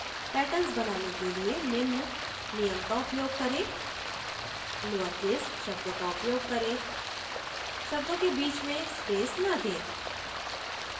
patterns बनाने के लिए निम्न नियम का उपयोग करें लोउर केस शब्दों का उपयोग करें शब्दों के बीच में स्पेस न दें